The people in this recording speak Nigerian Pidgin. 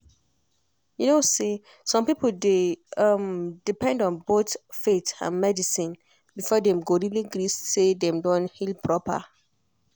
you know say some people dey um depend on both faith and medicine before dem go really gree say dem don heal proper.